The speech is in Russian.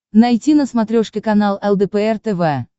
найти на смотрешке канал лдпр тв